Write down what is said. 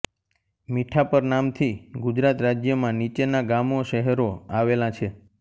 મીઠાપર નામથી ગુજરાત રાજ્યમાં નીચેના ગામોશહેરો આવેલા છે